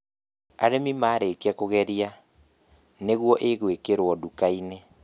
Arĩmi maarĩkia kũgeria, nĩguo ĩgwĩkĩrwo nduka-inĩ